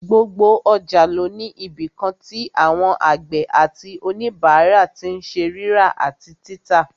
Gbogbo ọjà ló ní ibìkan tí àwọn àgbẹ̀ àti òníbàárà tí n ṣe rírà àti títà